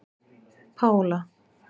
Pála